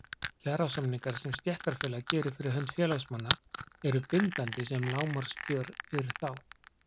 Kjarasamningarnir sem stéttarfélag gerir fyrir hönd félagsmanna eru bindandi sem lágmarkskjör fyrir þá.